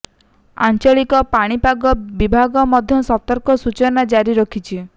ଆଞ୍ଚଳିକ ପାଣିପାଗ ବିଭାଗ ମଧ୍ୟ ସତର୍କ ସୂଚନା ଜାରି କରିଛି